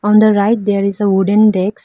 and the right there is a wooden desk.